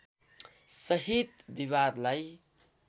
सहित विवादलाई